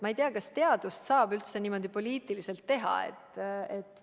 Ma ei tea, kas teadust saab üldse niimoodi poliitiliselt teha?